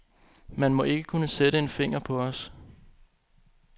Man må ikke kunne sætte en finger på os.